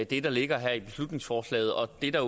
det der ligger her i beslutningsforslaget og det der